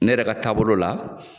Ne yɛrɛ ka taabolo la.